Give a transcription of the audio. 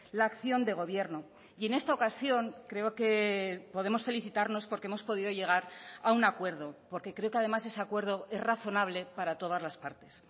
la acción de gobierno y en esta ocasión creo que podemos felicitarnos porque hemos podido llegar a un acuerdo porque creo que además ese acuerdo es razonable para todas las partes